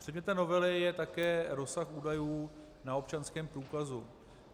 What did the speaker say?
Předmětem novely je také rozsah údajů na občanském průkazu.